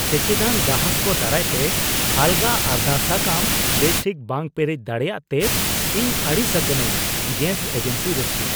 ᱥᱮᱪᱮᱫᱟᱱ ᱜᱟᱦᱟᱠ ᱠᱚ ᱫᱟᱨᱟᱭ ᱛᱮ ᱟᱞᱜᱟ ᱟᱨᱫᱟᱥ ᱥᱟᱠᱟᱢ ᱵᱮᱥ ᱴᱷᱤᱠ ᱵᱟᱝ ᱯᱮᱨᱮᱡ ᱫᱟᱲᱮᱭᱟᱜ ᱛᱮ ᱤᱧ ᱟᱹᱲᱤᱥ ᱟᱠᱟᱱᱟᱹᱧ ᱾ (ᱜᱮᱥ ᱮᱡᱮᱱᱥᱤ ᱨᱟᱹᱥᱤᱭᱟᱹ)